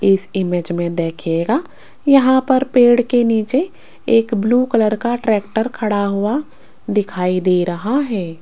इस इमेज में देखिएगा यहां पर पेड़ के नीचे एक ब्लू कलर का ट्रैक्टर खड़ा हुआ दिखाई दे रहा है।